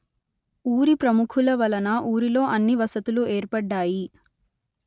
ఊరి ప్రముఖుల వలన ఊరిలో అన్ని వసతులు ఏర్పడ్డాయి